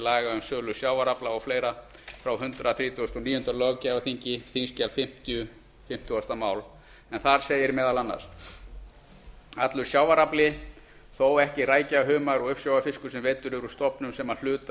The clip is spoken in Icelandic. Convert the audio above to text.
laga um sölu sjávarafla og fleira frá hundrað þrítugasta og níunda löggjafarþingi en þar segir meðal annars allur sjávarafli þó ekki rækja humar og uppsjávarfiskur sem veiddur er úr stofnum sem að hluta eða